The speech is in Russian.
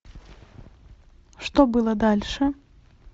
что было дальше